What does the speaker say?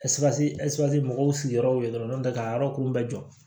mɔgɔw sigiyɔrɔ ye dɔrɔn n'o tɛ k'a yɔrɔ kolon bɛ jɔ